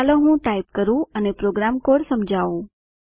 ચાલો હું ટાઇપ કરું અને પ્રોગ્રામ કોડ સમજાવું